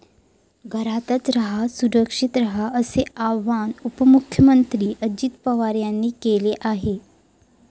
घरातचं रहा, सुरक्षित रहा असे आवाहन उपमुख्यमंत्री अजित पवार यांनी केले आहे.